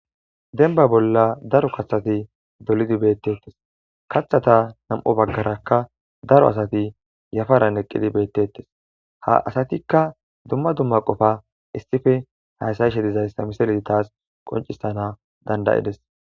denba bolla daro kaththati dolidi beettettes kaththata nam7o baggarakka daro asati yafaran eqqidi beettettes ha asatikka dumma dumma qofa issife haysayishe dizayssa misele taas qoncissana dandayides